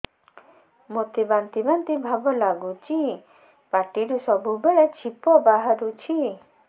ମୋତେ ବାନ୍ତି ବାନ୍ତି ଭାବ ଲାଗୁଚି ପାଟିରୁ ସବୁ ବେଳେ ଛିପ ବାହାରୁଛି